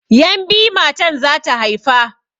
Yan' biyu matan zata haifa.